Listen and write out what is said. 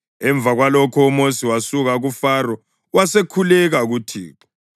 Emva kwalokho uMosi wasuka kuFaro wasekhuleka kuThixo.